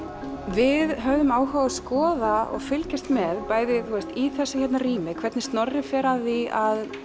við höfðum áhuga á að skoða og fylgjast með bæði í þessu hérna rými hvernig Snorri fer að því að